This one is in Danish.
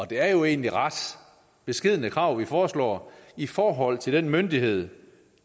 det er jo egentlig ret beskedne krav vi foreslår i forhold til den myndighed